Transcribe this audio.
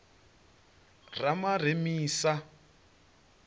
ramaremisa